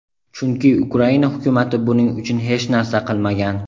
chunki Ukraina Hukumati buning uchun hech narsa qilmagan.